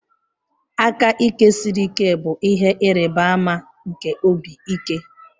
Aka ike siri ike bụ ihe ịrịba ama nke obi ike.